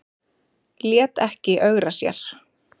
Lét ekki ögra sér